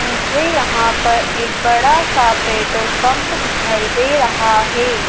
मुझे यहां पर एक बड़ा सा पेटोल पंप दिखाई दे रहा है।